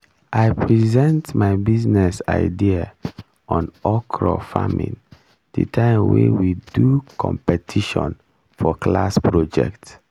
i present my business idea on okra farming the time wey we do competition for class project